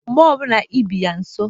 Mgbe ọ bịara ubi yaa nso,